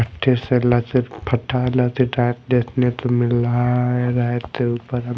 देखने को मिल रहा है रैक के ऊपर हम--